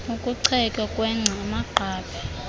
ukuchetywa kwengca amagqabi